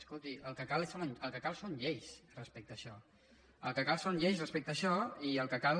escolti el que cal són lleis respecte a això el que cal són lleis respecte a això i el que cal